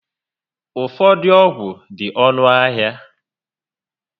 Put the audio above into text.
Ụfọdụ ọgwụ dị ọnụ ahịa